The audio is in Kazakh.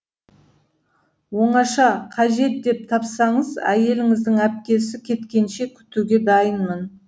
оңаша қажет деп тапсаңыз әйеліңіздің әпкесі кеткенше күтуге дайынмын